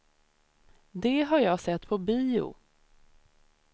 Det har jag sett på bio.